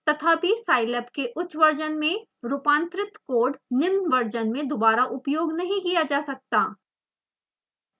तथापि scilab के उच्च वर्शन में रूपांतरित कोड निम्न वर्शन में दोबारा उपयोग नहीं किया जा सकता